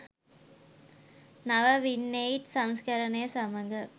නව වින්8 සංස්කරනය සමග